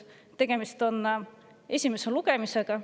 Tegemist on esimese lugemisega.